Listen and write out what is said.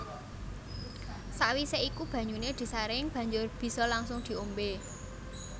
Sakwise iku banyuné disaring banjur bisa langsung diombé